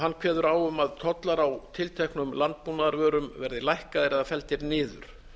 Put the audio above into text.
hann kveður á um að tollar á tilteknum landbúnaðarvörum verði lækkaðir eða felldir niður